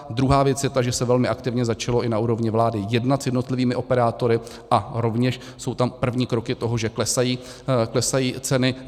Druhá věc je ta, že se velmi aktivně začalo i na úrovni vlády jednat s jednotlivými operátory a rovněž jsou tam první kroky toho, že klesají ceny.